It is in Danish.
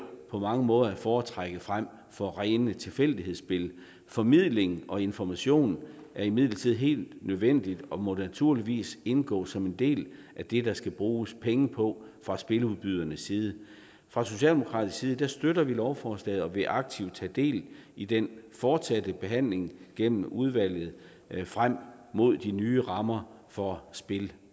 på mange måder at foretrække frem for rene tilfældighedsspil formidling og information er imidlertid helt nødvendig og må naturligvis indgå som en del af det der skal bruges penge på fra spiludbydernes side fra socialdemokratisk side støtter vi lovforslaget og vil aktivt tage del i den fortsatte behandling gennem udvalget frem mod de nye rammer for spil